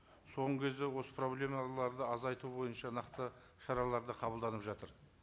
соңғы кезде осы проблемаларды азайту бойынша нақты шаралар да қабылданып жатыр